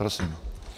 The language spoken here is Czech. Prosím.